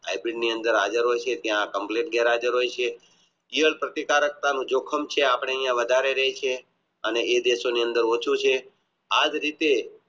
જીવન પ્રતીકારકતા મુજબ જિક્ષમ છે અપને અહીંયા અને એ દેશો ની અંદર ઓછું છે આજ રીતે